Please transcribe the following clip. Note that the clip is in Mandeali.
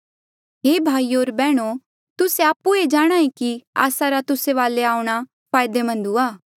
हे भाईयो होर बैहणो तुस्से आपु ई जाणहां ऐें कि आस्सा रा तुस्सा वाले आऊंणा फायदेमंद हुआ